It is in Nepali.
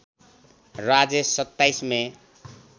राजेश २७ मे